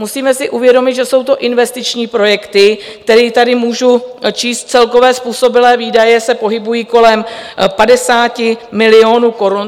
Musíme si uvědomit, že jsou to investiční projekty, které tady můžu číst, celkové způsobilé výdaje se pohybují kolem 50 milionů korun.